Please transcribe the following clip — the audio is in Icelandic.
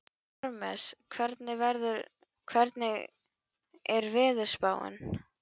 Parmes, hvernig er veðurspáin?